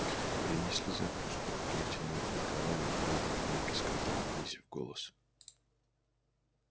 принесли закуску лейтенант николай наполнил рюмки сказал понизив голос